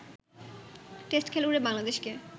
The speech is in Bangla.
টেস্ট খেলুড়ে বাংলাদেশকে